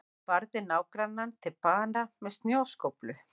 Barði nágrannann til bana með snjóskóflu